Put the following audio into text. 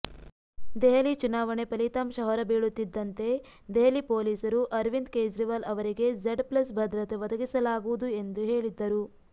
ದೆಹಲಿ ಚುನಾವಣೆ ಫಲಿತಾಂಶ ಹೊರಬೀಳುತ್ತಿದ್ದಂತೆ ದೆಹಲಿ ಪೊಲೀಸರು ಅರವಿಂದ್ ಕೇಜ್ರಿವಾಲ್ ಅವರಿಗೆ ಝೆಡ್ ಪ್ಲಸ್ ಭದ್ರತೆ ಒದಗಿಸಲಾಗುವುದು ಎಂದು ಹೇಳಿದ್ದರು